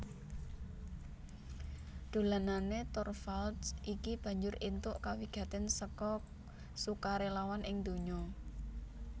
Dolanané Torvalds iki banjur éntuk kawigatèn seka sukarélawan ing ndonya